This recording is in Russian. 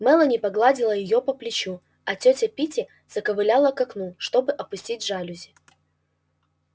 мелани погладила её по плечу а тётя питти заковыляла к окну чтобы опустить жалюзи